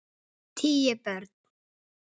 Tíu börn.